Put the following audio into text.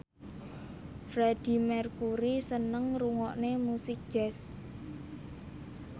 Freedie Mercury seneng ngrungokne musik jazz